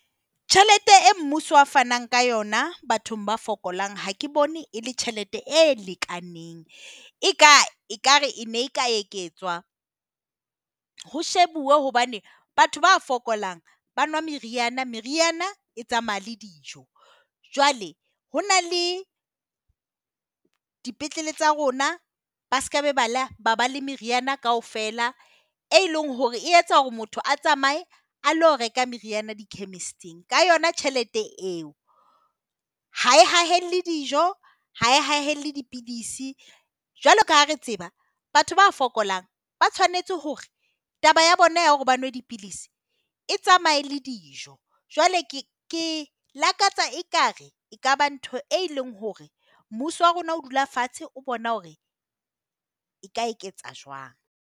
Tjhelete e mmuso a fanang ka yona bathong ba fokolang ha ke bone e le tjhelete e lekaneng. Eka ekare e ne ka etswa ho shebuwe hobane batho ba fokolang ba nwa meriana. Meriana e tsamaya le dijo. Jwale ho na le dipetlele tsa rona, ba sekaba le meriana kaofela. E leng hore e etsa hore motho a tsamaye a ilo reka meriana di-chemist-ing ka yona tjhelete eo. Ha e hae dijo ha e hae le dipidisi. Jwalo kaha re tseba, batho ba fokolang ba tshwanetse hore taba ya bona ya hore ba nwe dipidisi e tsamaye le dijo. Jwale ke ke lakatsa ekare ekaba ntho e leng hore mmuso wa rona o dula fatshe o bona hore e ka eketsa jwang.